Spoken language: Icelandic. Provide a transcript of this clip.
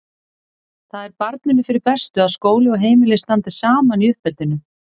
Það er barninu fyrir bestu að skóli og heimili standi saman í uppeldinu.